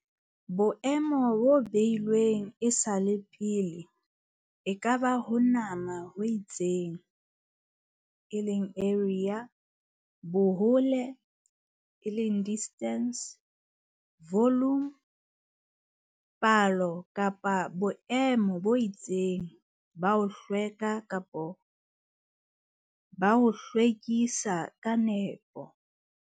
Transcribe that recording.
Boemo bo beilweng e sa le pele e ka ba ho nama ho itseng eleng area, bohole eleng distance, volume, palo kapa boemo bo itseng ba ho hlweka kapa ba ho lokiswa ka nepo.